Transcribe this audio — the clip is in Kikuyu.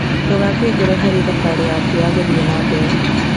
Ndũgakue ngoro harĩ thabarĩ yaku ya gũthie na mbere.